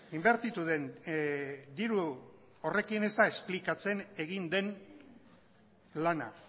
inbertitu den diru horrekin ez da esplikatzen egin den lana